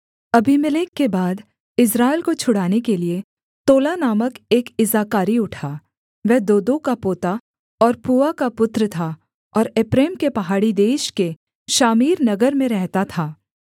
Abimelech के बाद Israel को छुड़ाने के लिये तोला नामक एक इस्साकारी उठा वह दोदो का पोता और पूआ का पुत्र था और एप्रैम के पहाड़ी देश के शामीर नगर में रहता था